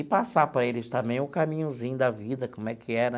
E passar para eles também o caminhozinho da vida, como é que era,